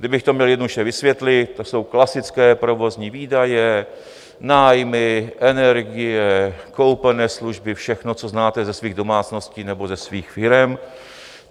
Kdybych to měl jednoduše vysvětlit, to jsou klasické provozní výdaje, nájmy, energie, koupené služby, všechno, co znáte ze svých domácností nebo ze svých firem.